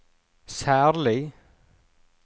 særlig